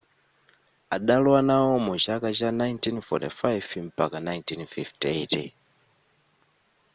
adalowa nawo mu chaka cha 1945 mpaka 1958